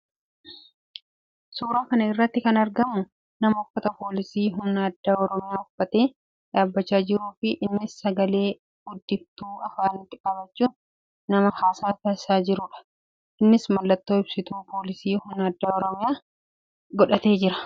Suuraa kana irratti kan argamu nama uffata poolisii humna addaa Oromiyaa uffatee dhabachaa jiruu fi innis sagalee guddiftuu afaanitti qabachuun nama haasaa taasisaa jiruudha . Innis mallattoo ibsituu poolisii humna addaa Oromiyaa godhatee jira.